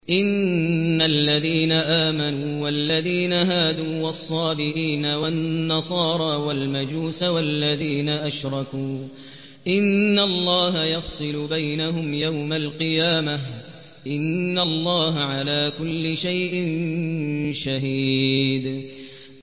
إِنَّ الَّذِينَ آمَنُوا وَالَّذِينَ هَادُوا وَالصَّابِئِينَ وَالنَّصَارَىٰ وَالْمَجُوسَ وَالَّذِينَ أَشْرَكُوا إِنَّ اللَّهَ يَفْصِلُ بَيْنَهُمْ يَوْمَ الْقِيَامَةِ ۚ إِنَّ اللَّهَ عَلَىٰ كُلِّ شَيْءٍ شَهِيدٌ